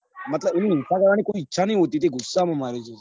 મતલબ એની હિંસા કરવાની કોઈ ઈચ્છા નાઈ હોતી એ ગુસ્સા માં મારે છે